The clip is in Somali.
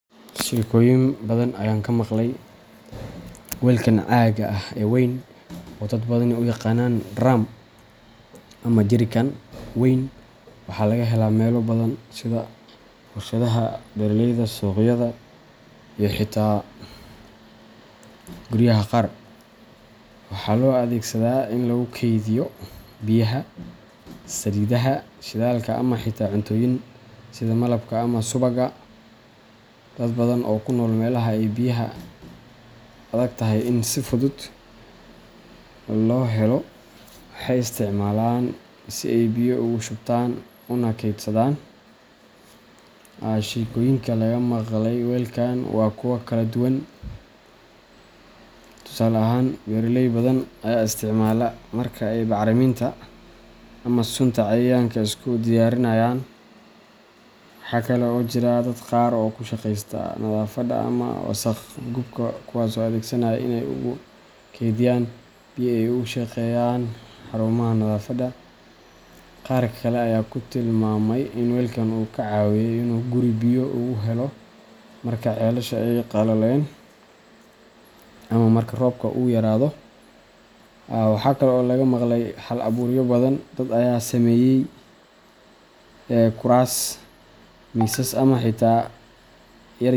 Shekoyin badan ayan kamaqlay. Weelkan caagga ah ee weyn, oo dad badani u yaqaanaan drum ama jerrycan weyn, waxaa laga helaa meelo badan sida warshadaha, beeralayda, suuqyada iyo xitaa guryaha qaar. Waxaa loo adeegsadaa in lagu kaydiyo biyaha, saliidaha, shidaalka, ama xitaa cuntooyinka sida malabka ama subagga. Dad badan oo ku nool meelaha ay biyaha adagtahay in si fudud loo helo waxay isticmaalaan si ay biyo ugu shubtaan una keydsadaan. Sheekooyinka laga maqlay weelkan waa kuwo kala duwan. Tusaale ahaan, beeraley badan ayaa isticmaala marka ay bacriminta ama sunta cayayaanka isku diyaarinayaan. Waxa kale oo jira dad qaar oo ku shaqeysta nadaafadda ama wasakh qubka kuwaasoo adeegsanaya si ay ugu kaydiyaan biyo ay ugu shaqeeyaan xarumaha nadaafadda. Qaar kale ayaa ku tilmaamay in weelkan uu ka caawiyey inuu guri biyo ugu helo marka ceelasha ay qalaleen, ama marka roobka uu yaraado. Waxa kale oo laga maqlay hal abuuryo badan dad ayaa ka sameeyey kuraas, miisas, ama xitaa.